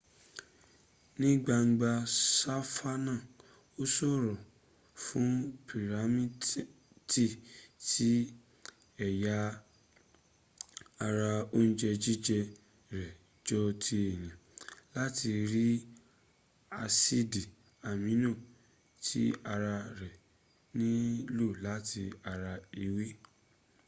ní gbangba sàfánà ó ṣòro fún pírámètì tí ęya ara oúnjẹ́ jíję rẹ̀ jọ ti èyàn láti rí ásìdì amino tí ara rẹ̀ ní lò láti ara ewé